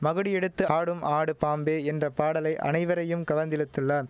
மகுடி எடுத்து ஆடும் ஆடு பாம்பே என்ற பாடலை அனைவரையும் கவர்ந்திழுத்துள்ளான்